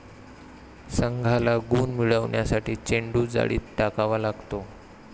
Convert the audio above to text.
संघाला गुण मिळवण्यासाठी चेंडू जाळीत टाकावा लागतो.